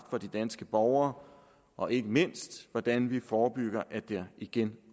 for de danske borgere og ikke mindst hvordan vi forebygger at der igen